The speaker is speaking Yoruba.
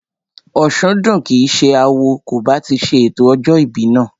Òsúndùn kìí ṣe awo kò bá ti ṣe ètò ọjọ́ ìbí náà